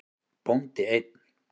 Bóndi einn.